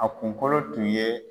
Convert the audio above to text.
A kunkolo tun ye